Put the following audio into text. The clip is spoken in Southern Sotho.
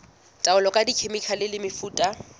taolo ka dikhemikhale le mefuta